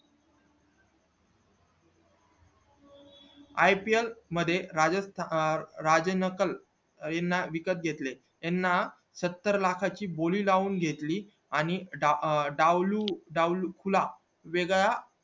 ipl मध्ये राजस्त राजनकल येना विकत घेतले याना सत्तर लाखा ची बोली लावून घेतले आणि डाव डावलू डाव हुकला वेगळा